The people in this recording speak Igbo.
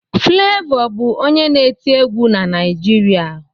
Flevọ bụ onye na-eti egwu na Naịjirịa